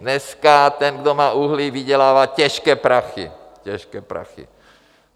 Dneska ten, kdo má uhlí, vydělává těžké prachy, těžké prachy!